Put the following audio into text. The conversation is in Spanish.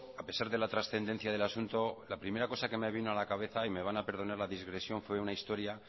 a pesar de la transcendencia del asunto la primera cosa que me vino a la cabeza y me van a perdonar la digresión fue una historia